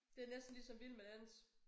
Det næsten ligesom vild med dans